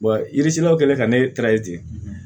yirisiɲɛw kɛlen ka ne ten